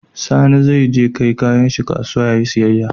Sani ze kai yayan shi kasuwa yayi siyayya